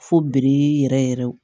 Fo biri yɛrɛ yɛrɛ